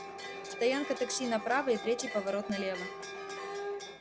стоянка такси направо и третий поворот налево